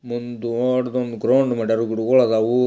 ಒಂದು ದೊಡ್ಡದೊಂದು ಗ್ರೌಂಡ್ ಮಡ್ಯಾರ್ ಗಿಡುಗಳಾದವು --